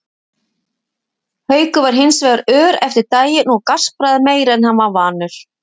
Haukur var hins vegar ör eftir daginn og gaspraði meira en hann var vanur.